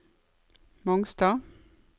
Mongstad